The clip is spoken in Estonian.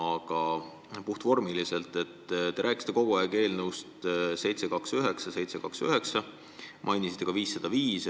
Aga puhtvormiliselt: te rääkisite eelnõudest 729 ja 729 ning mainisite ka eelnõu 505.